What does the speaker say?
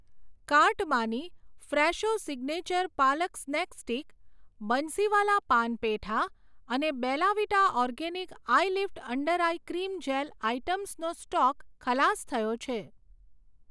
કાર્ટમાંની Fresho signature palak snack stick, Bansiwala paan petha અને Bella Vita organic eyelift under eye cream gel આઇટમ્સનો stock ખલાસ થયો છે.